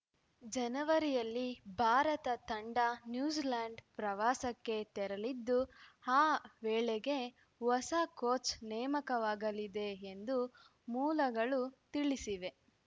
ಜನವರಿಯಲ್ಲಿ ಭಾರತ ತಂಡ ನ್ಯೂಜಿಲೆಂಡ್‌ ಪ್ರವಾಸಕ್ಕೆ ತೆರಲಿದ್ದು ಆ ವೇಳೆಗೆ ಹೊಸ ಕೋಚ್‌ ನೇಮಕವಾಗಲಿದೆ ಎಂದು ಮೂಲಗಳು ತಿಳಿಸಿವೆ